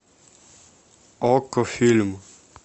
окко фильм